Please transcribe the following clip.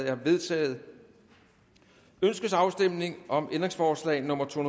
er vedtaget ønskes afstemning om ændringsforslag nummer to